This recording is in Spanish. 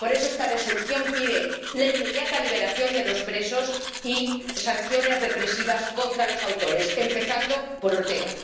Por eso esta Resolución pide la inmediata liberación de los presos y sanciones represivas contra los autores, empezando por Ortega.